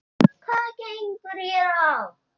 Hvað gengur hér á?